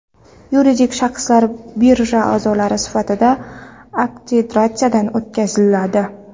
Yuridik shaxslar birja a’zolari sifatida akkreditatsiyadan o‘tkaziladi.